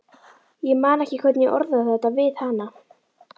Ég man ekki hvernig ég orðaði þetta við hana.